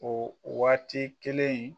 O waati kelen yen